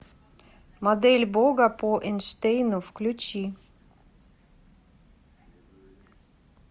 модель бога по эйнштейну включи